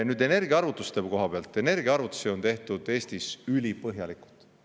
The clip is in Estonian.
Nüüd, energiaarvutuste koha pealt: energiaarvutusi on tehtud Eestis ülipõhjalikult.